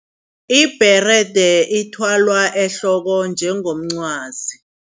Ibherede ithwalwa ehloko njengomqwazi.